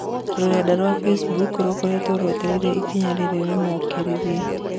rũrenda rwa Facebook rũkoretwo rwetereire ikinya rĩrĩ rĩmokĩrĩire